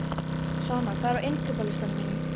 Svana, hvað er á innkaupalistanum mínum?